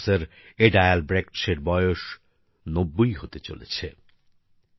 আজ professor Ada Albrecht এর বয়স ৯০ হতে চলেছে